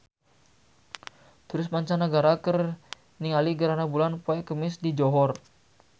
Turis mancanagara keur ningali gerhana bulan poe Kemis di Johor